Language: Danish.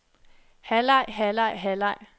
halvleg halvleg halvleg